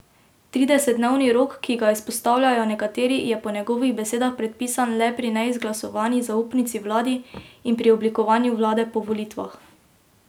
Tridesetdnevni rok, ki ga izpostavljajo nekateri, je po njegovih besedah predpisan le pri neizglasovani zaupnici vladi in pri oblikovanju vlade po volitvah.